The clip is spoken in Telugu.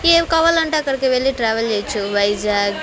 ఏవి కావాలంటే అక్కడికి వెళ్లి ట్రావెల్ చెయొచ్చు వైజాగ్--